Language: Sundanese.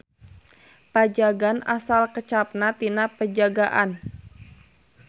Pajagan asal kecapna tina Penjagaan.